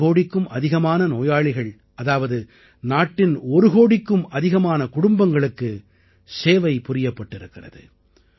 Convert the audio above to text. ஒரு கோடிக்கும் அதிகமான நோயாளிகள் அதாவது நாட்டின் ஒரு கோடிக்கும் அதிகமான குடும்பங்களுக்கு சேவை புரியப்பட்டிருக்கிறது